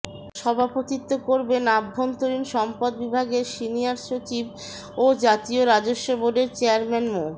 সভাপতিত্ব করবেন অভ্যন্তরীণ সম্পদ বিভাগের সিনিয়র সচিব ও জাতীয় রাজস্ব বোর্ডের চেয়ারম্যান মো